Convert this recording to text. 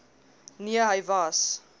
nee hy was